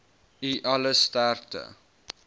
u alle sterkte